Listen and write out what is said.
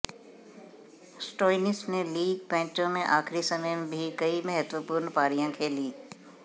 Stoinis ने league मैचों में आखिरी समय भी कई महत्वपूर्ण पारियां खेलीं